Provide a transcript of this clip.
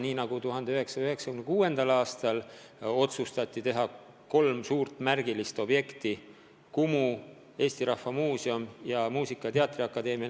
Näiteks 1996. aastal otsustati käsile võtta kolm suurt märgilist objekti: Kumu, Eesti Rahva Muuseum ja Muusika- ja Teatriakadeemia.